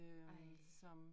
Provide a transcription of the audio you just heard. Ej